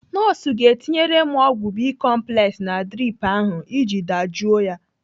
Nọọsụ ga-etinyere m ọgwụ bicomplex na drip ahụ iji dajụọ ya.